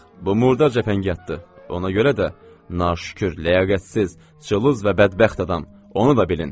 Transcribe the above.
Bu murdar cəfəngiyatdır, ona görə də naşükür, ləyaqətsiz, cılız və bədbəxt adam, onu da bilin.